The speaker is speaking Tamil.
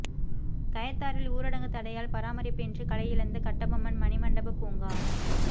கயத்தாறில் ஊரடங்கு தடையால் பராமரிப்பின்றி கலை இழந்த கட்டபொம்மன் மணிமண்டப பூங்கா